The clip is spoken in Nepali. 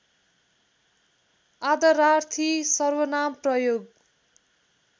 आदरार्थी सर्वनाम प्रयोग